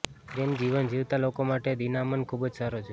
પ્રેમ જીવન જીવતા લોકો માટે દિનામન ખૂબ જ સારો છે